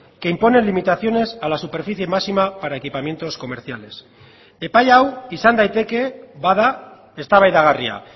que imponen limitaciones a la superficie máxima para equipamientos comerciales epai hau izan daiteke bada eztabaidagarria